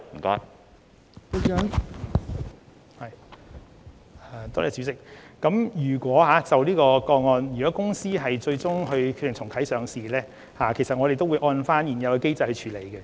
代理主席，就這宗個案，如果螞蟻集團最終決定重啟上市程序，我們會按照現行機制處理。